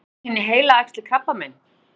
eru góðkynja heilaæxli krabbamein